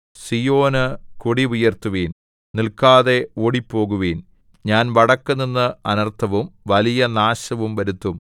സീയോനു കൊടി ഉയർത്തുവിൻ നില്‍ക്കാതെ ഓടിപ്പോകുവിൻ ഞാൻ വടക്കുനിന്ന് അനർത്ഥവും വലിയ നാശവും വരുത്തും